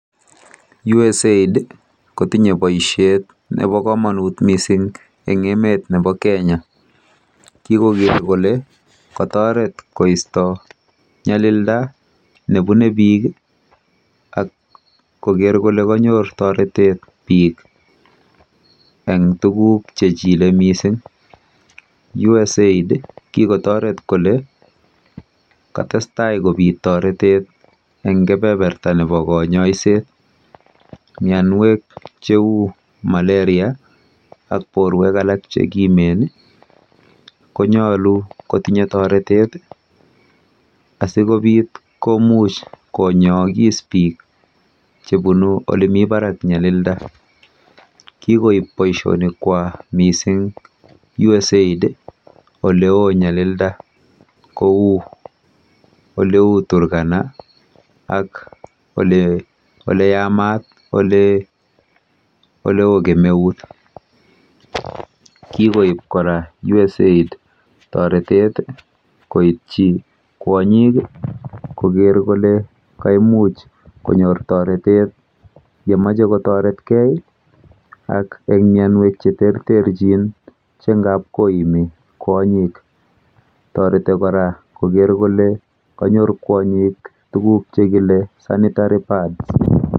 USAID kotinye poishet nepo kamanut missing' eng' emet nepo Kenya. Kikoker kole kataret koista nyalilda ne pune piik ak koker kole kanyor taretet piik eng' tuguk che chile missing'. USAID kikotaret kole katestai kopit taretet eng' kepeperta nepo kanyaiset. Mianwek che u Malaria ak porwek alak che kimen konyalu kotinye taretet asi kopit komuch konyaakis piik che punu ole mi parak nyalilda. Kikoip poishonikwak missing' USAID ole oo nyalilda kou ole u Turkana ak ole yamat ole oo kemeut. Kikoip kora USAID taretet koitchi kwonyik koker kole kaimuch konyor taretet ye mache kotaretgei ak eng' mianwek che terterchin che ngap koimi kwonyiik. Tareti kora koker kole kanyor kwonyik tuguk che kile sanitary pads.